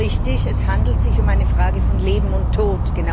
Ja, es ist richtig, es handelt sich um eine Frage von Leben und Tod.